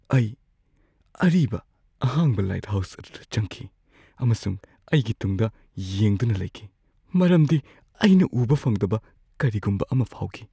ꯑꯩ ꯑꯔꯤꯕ ꯑꯍꯥꯡꯕ ꯂꯥꯏꯠꯍꯥꯎꯁ ꯑꯗꯨꯗ ꯆꯪꯈꯤ, ꯑꯃꯁꯨꯡ ꯑꯩꯒꯤ ꯇꯨꯡꯗ ꯌꯦꯡꯗꯨꯅ ꯂꯩꯈꯤ ꯃꯔꯝꯗꯤ ꯑꯩꯅ ꯎꯕ ꯐꯪꯗꯕ ꯀꯔꯤꯒꯨꯝꯕ ꯑꯃ ꯐꯥꯎꯈꯤ꯫